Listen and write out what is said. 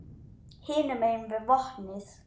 Hinum megin við vatnið.